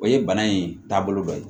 O ye bana in taabolo dɔ ye